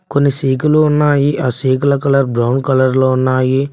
కొన్ని సీకులు ఉన్నాయి ఆ సీకుల కలర్ బ్రౌన్ కలర్లో ఉన్నాయి.